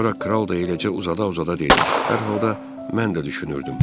Sonra kral da eləcə uzada-uzada dedi: Hər halda mən də düşünürdüm.